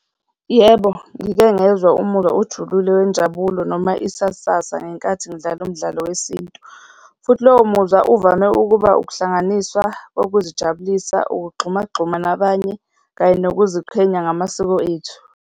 Yebo, ngike ngezwa umuzwa ojulile wenjabulo noma isasasa ngenkathi ngidlala umdlalo wesintu futhi lowo muzwa uvame ukuba ukuhlanganiswa kokuzijabulisa, ukugxumagxuma nabanye kanye nokuziqhenya ngamasiko ethu.